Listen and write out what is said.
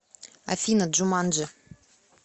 афина джуманджи